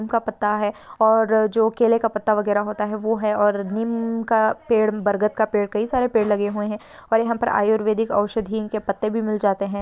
का पता है और जो केले का पत्ता वगैरा होता है वो है और नीम का पेड़ बरगद का पेड़ कई सारे पेड़ लगे हुए है और यहाँ पर आयुर्वेदिक औषधि इनके पत्ते भी मील जाते है।